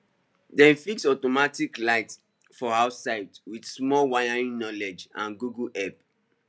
dem fix automatic light for outside with small wiring knowledge and google help